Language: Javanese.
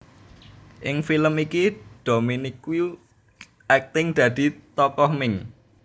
Ing film iki Dominique akting dadi tokoh Ming